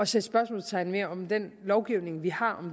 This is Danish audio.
sætte spørgsmålstegn ved om den lovgivning vi har